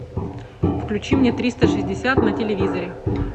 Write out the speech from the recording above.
включи мне триста шестьдесят на телевизоре